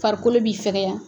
Farikolo bi fɛkɛya.